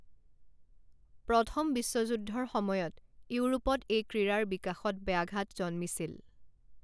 প্ৰথম বিশ্বযুদ্ধৰ সময়ত ইউৰোপত এই ক্ৰীড়াৰ বিকাশত ব্যাঘাত জন্মিছিল।